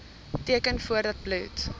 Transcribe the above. teken voordat bloed